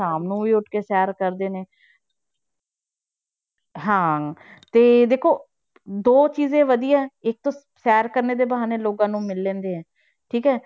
ਸ਼ਾਮ ਨੂੰ ਵੀ ਉੱਠ ਕੇ ਸੈਰ ਕਰਦੇ ਨੇ ਹਾਂ ਤੇ ਦੇਖੋ ਦੋ ਚੀਜ਼ਾਂ ਵਧੀਆ ਹੈ, ਇੱਕ ਸੈਰ ਕਰਨੇ ਦੇ ਬਹਾਨੇ ਲੋਕਾਂ ਨੂੰ ਮਿਲ ਲੈਂਦੇ ਹੈ, ਠੀਕ ਹੈ